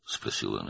deyə o soruşdu.